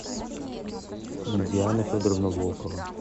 диана федоровна волкова